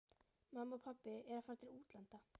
Mamma og pabbi eru að fara til útlanda.